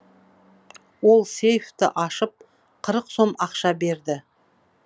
ол сейфті ашып қырық сом ақша берді